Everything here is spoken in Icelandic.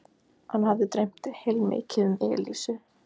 Hann hafði dreymt heilmikið um Elísu.